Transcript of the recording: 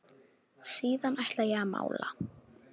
Síðan ætla ég að mála.